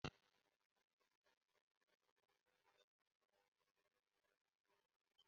ọnụ gị ga-amalite sibe isi ma ọ bụrụ na ị naghị asa ezé gị